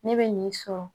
Ne bɛ nin sɔrɔ